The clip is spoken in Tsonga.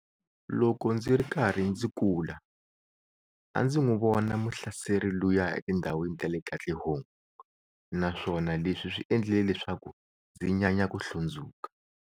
Loko ndzi ri karhi ndzi kula, a ndzi n'wi vona muhlaseri luya etindhawini ta le Katlehong na swona leswi swi endlile leswaku ndzi nyanya ku hlundzuka.